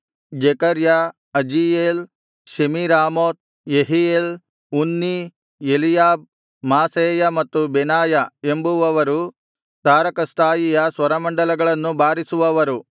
ಜೆಕರ್ಯ ಅಜೀಯೇಲ್ ಶೆಮೀರಾಮೋತ್ ಯೆಹೀಯೇಲ್ ಉನ್ನೀ ಎಲೀಯಾಬ್ ಮಾಸೇಯ ಮತ್ತು ಬೆನಾಯ ಎಂಬುವವರು ತಾರಕಸ್ಥಾಯಿಯ ಸ್ವರಮಂಡಲಗಳನ್ನು ಬಾರಿಸುವವರು